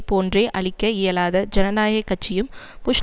போன்றே அளிக்க இயலாத ஜனநாயக கட்சியும் புஷ்